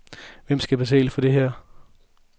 Hvem skal betale for det her?